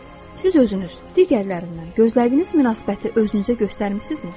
Siz özünüz digərlərindən gözlədiyiniz münasibəti özünüzə göstərmisinizmi?